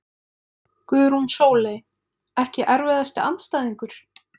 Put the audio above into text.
Guðrún Sóley Ekki erfiðasti andstæðingur?